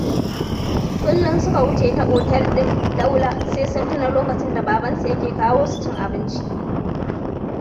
Kullum suka wuce ta otel ɗin Daula sai sun tuna lokacin da babansu yake kawo su cin abinci.